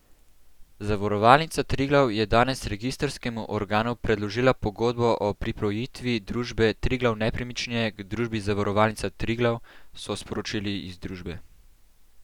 Zavarovalnica Triglav je danes registrskemu organu predložila pogodbo o pripojitvi družbe Triglav nepremičnine k družbi Zavarovalnica Triglav, so sporočili iz družbe.